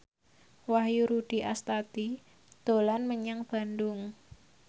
Wahyu Rudi Astadi dolan menyang Bandung